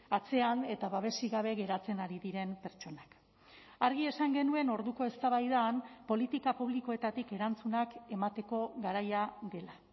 atzean eta babesik gabe geratzen ari diren pertsonak argi esan genuen orduko eztabaidan politika publikoetatik erantzunak emateko garaia dela